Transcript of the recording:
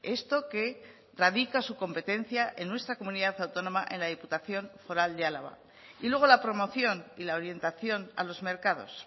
esto que radica su competencia en nuestra comunidad autónoma en la diputación foral de álava y luego la promoción y la orientación a los mercados